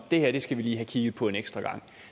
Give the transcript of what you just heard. det her skal vi lige have kigget på en ekstra gang